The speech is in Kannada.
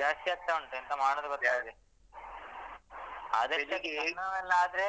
ಜಾಸ್ತಿಯಾಗ್ತಾ ಉಂಟು ಎಂತ ಮಾಡುದು ಗೊತ್ತಿಲ್ಲ ಅದಕ್ಕೆ ಕಣ್ಣು ನೋವೆಲ್ಲ ಆದ್ರೆ